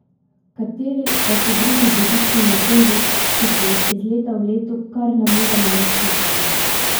Kateri pa so drugi božični napevi, ki se jih iz leta v leto kar ne moremo nasititi?